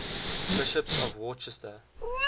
bishops of worcester